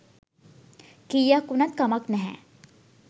කීයක් උනත් කමක් නැහැ.